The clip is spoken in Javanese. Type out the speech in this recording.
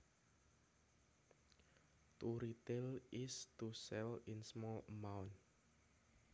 To retail is to sell in small amounts